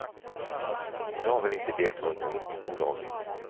Jag ville inte delta i något olagligt.